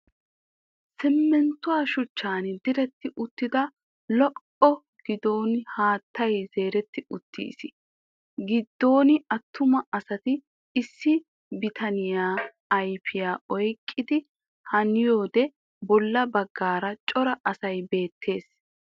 Simminttuwa shuchchan diretti uttida ollaa giddon haattay zeeretti uttiis. Giddon attuma asati issi bitaniya ayfiya oyqqidi haniyode bolla baggaara cora asay beettees.